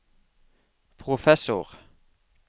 professor